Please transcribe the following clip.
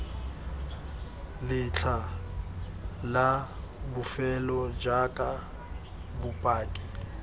letlha la bofelo jaaka bopaki